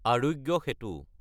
আৰোগ্য চেটো